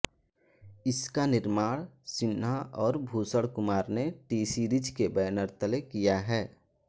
इसका निर्माण सिन्हा और भूषण कुमार ने टीसीरीज के बैनर तले किया है